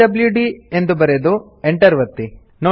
PWD ಬರೆದು Enter ಒತ್ತಿ